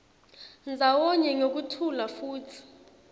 ndzawonye ngekuthula futsi